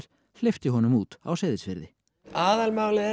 hleypti honum út á Seyðisfirði aðalmálið er